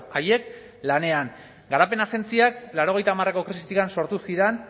haiek lanean garapen agentziak laurogeita hamareko krisitik sortu ziren